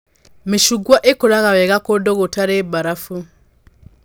Mĩcungwa ĩkũraga wega kũndũ gũtarĩ mbarabu